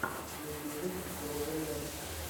в ютьюбе джо веллер